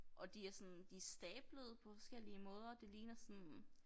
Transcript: Og de er sådan de stablede på forskellige måder det ligner sådan